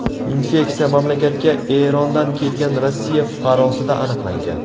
Infeksiya mamlakatga Erondan kelgan Rossiya fuqarosida aniqlangan.